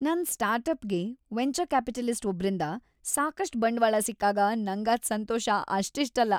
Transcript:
ನನ್ ಸ್ಟಾರ್ಟ್ಅಪ್ಗೆ venture capitalist ಒಬ್ರಿಂದ ಸಾಕಷ್ಟ್ ಬಂಡ್ವಾಳ ಸಿಕ್ಕಾಗ ನಂಗಾದ್‌ ಸಂತೋಷ ಅಷ್ಟಿಷ್ಟಲ್ಲ.